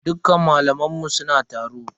Dukkan malaman mu suna taro.